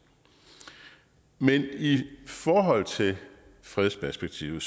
men i i forhold til fredsperspektivet